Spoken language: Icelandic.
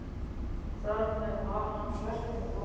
Þar með var hans verkefni lokið.